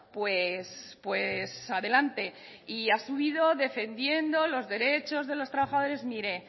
pues pues adelante y ha subido defendiendo los derechos de los trabajadores mire